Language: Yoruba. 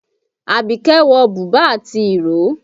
Àbíkẹ́ wọ̀ bùbá àti ìró